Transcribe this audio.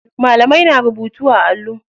Malamai na rubutu a allo.